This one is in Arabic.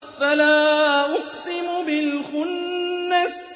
فَلَا أُقْسِمُ بِالْخُنَّسِ